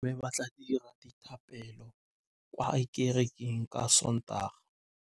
Bommê ba tla dira dithapêlô kwa kerekeng ka Sontaga.